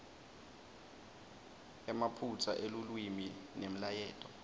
emaphutsa elulwimi nemlayeto